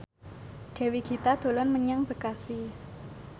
Dewi Gita dolan menyang Bekasi